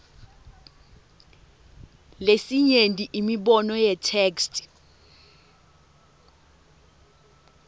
lesinyenti imibono yetheksthi